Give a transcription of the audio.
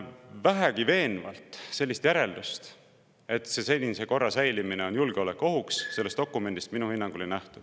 Vähegi veenvalt sellist järeldust, et senise korra säilimine on julgeolekuohuks, sellest dokumendist minu hinnangul ei nähtu.